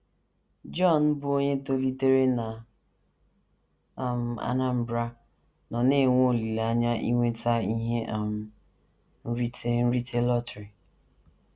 JOHN, bụ́ onye tolitere na um Anambra, nọ na - enwe olileanya inweta ihe um nrite nrite lọtrị.